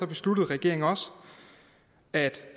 besluttede regeringen også at